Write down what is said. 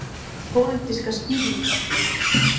Hver er ykkar pólitíska skýring á því?